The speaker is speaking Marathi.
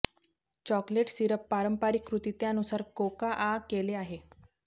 चॉकलेट सिरप पारंपारिक कृती त्यानुसार कोकाआ केले आहे